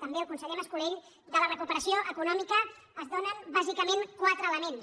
també el conseller mas·co·lell de la recuperació econòmica es donen bàsicament quatre elements